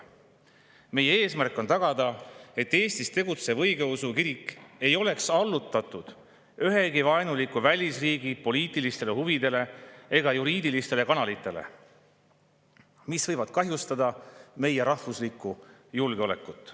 Meie eesmärk on tagada, et Eestis tegutsev õigeusu kirik ei oleks allutatud ühegi vaenuliku välisriigi poliitilistele huvidele ega juriidilistele kanalitele, mis võivad kahjustada meie rahvuslikku julgeolekut.